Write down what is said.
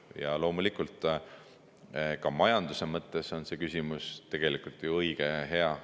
Ja loomulikult, ka majanduse mõttes on see küsimus tegelikult õige ja hea.